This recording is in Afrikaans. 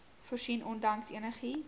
voorsien ondanks enigiets